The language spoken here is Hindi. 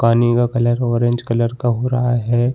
पानी का कलर ऑरेंज कलर का हो रहा है।